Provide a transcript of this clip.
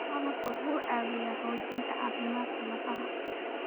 Malabku waxa uu caawiyaa xoojinta caafimaadka lafaha.